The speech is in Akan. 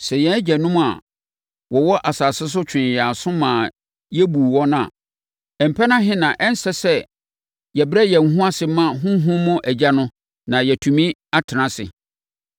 Sɛ yɛn agyanom a wɔwɔ asase so twee yɛn aso maa yɛbuu wɔn a, mpɛn ahe na ɛnsɛ sɛ yɛbrɛ yɛn ho ase ma honhom mu Agya no na yɛtumi tena ase?